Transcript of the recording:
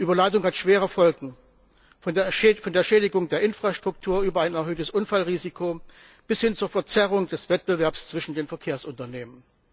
Überladung hat schwere Folgen, von der Schädigung der Infrastruktur über ein erhöhtes Unfallrisiko bis hin zur Verzerrung des Wettbewerbs zwischen den Verkehrsunternehmen.